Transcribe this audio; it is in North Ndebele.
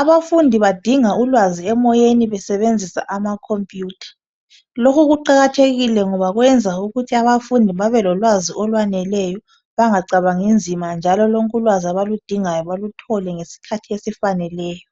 Abafundi badinga ulwazi emoyeni besebenzisa amakhompiyutha. Lokhu kuqakathekile ngoba kwenza ukuthi abafundi babelolwazi okwaneleyo bangacabangi nzima njalo lonke ulwazi abaludingayo baluthole ngesikhathi esifaneleyo.